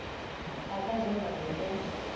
a ka ja mae o